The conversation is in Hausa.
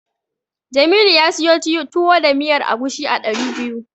Jamilu ya siyo Tuwo da miyar agushi a ɗari biyar.